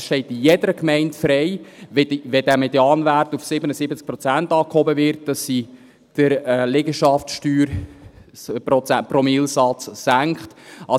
Es steht also jeder Gemeinde frei, wenn dieser Medianwert auf 77 Prozent angehoben wird, den Liegenschaftspromillesatz zu senken.